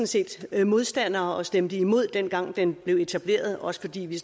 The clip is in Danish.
set modstandere og stemte imod dengang den blev etableret også fordi vi